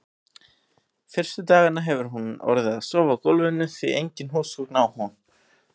Fyrstu dagana hefur hún orðið að sofa á gólfinu, því engin húsgögn á hún.